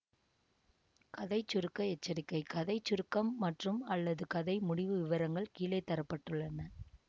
கதை சுருக்க எச்சரிக்கை கதை சுருக்கம் மற்றும்அல்லது கதை முடிவு விவரங்கள் கீழே தர பட்டுள்ளன